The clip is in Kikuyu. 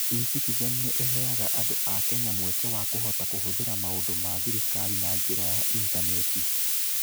E-citizen nĩ ĩheaga andũ a Kenya mweke wa kũhota kũhũthĩra maũndũ ma thirikari na njĩra ya initaneti.